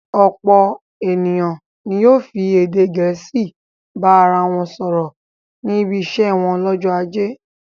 Ọ̀pọ̀ ènìyàn ni yóò fi èdè Gẹ̀ẹ́sì bá ara wọn sọ̀rọ̀ níbi iṣẹ́ wọn lọ́jọ́ ajé.